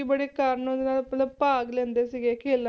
ਬੜੀ ਮਤਲਬ ਭਾਗ ਲੈਂਦੇ ਸੀਗੇ ਖੇਲਾਂ